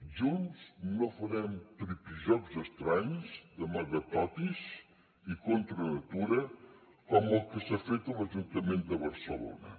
junts no farem tripijocs estranys d’amagatotis i contra natura com els que s’han fet a l’ajuntament de barcelona